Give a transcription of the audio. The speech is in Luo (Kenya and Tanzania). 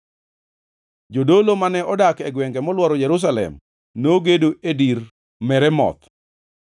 Jodolo mane odak e gwengʼ e molworo Jerusalem nogedo e dir Meremoth.